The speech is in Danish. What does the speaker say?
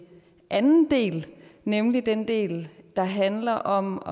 anden del nemlig den del der handler om